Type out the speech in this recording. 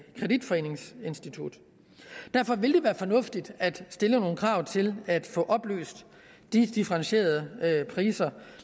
kreditforeningsinstitut derfor vil det være fornuftigt at stille nogle krav til at få oplyst de differentierede priser